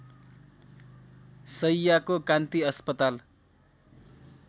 शैय्याको कान्ति अस्पताल